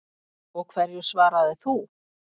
Og hverju svaraðir þú?